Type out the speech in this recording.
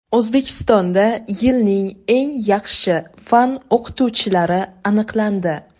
O‘zbekistonda yilning eng yaxshi fan o‘qituvchilari aniqlandi.